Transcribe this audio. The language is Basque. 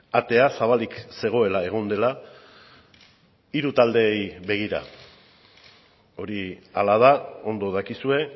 atea zabalik zegoela egon dela hiru taldeei begira hori hala da ondo dakizue